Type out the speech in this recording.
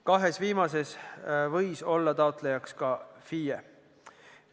Kahes viimases sihtgrupis võis taotlejaks olla ka FIE.